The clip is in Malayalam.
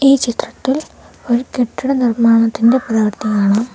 ഈ ചിത്രത്തിൽ ഒരു കെട്ടിട നിർമ്മാണത്തിൻ്റെ പ്രവർത്തി കാണാം.